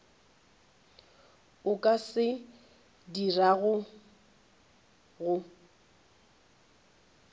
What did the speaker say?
a ka se dirago go